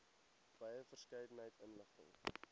wye verskeidenheid inligting